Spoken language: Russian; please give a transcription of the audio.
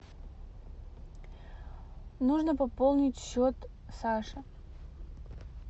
нужно пополнить счет саши